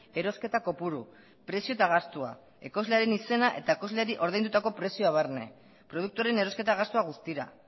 erosketa kopuru prezioa eta gastua ekoizlearen izena eta ekoizleari ordaindutako prezioa barne produktuaren erosketa gastua guztira